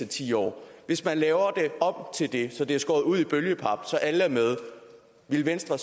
ti år hvis man laver det om til det så det er skåret ud i bølgepap så alle er med ville venstre